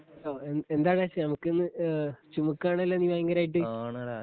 എന്താണ് ചുമക്കുന്നേ ചുമയ്ക്കുകയാണല്ലോ? നീ ഭയങ്കരായിട്ട്